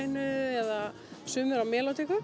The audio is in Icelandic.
tamborínu eða sumir á